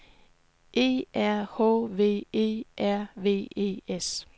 E R H V E R V E S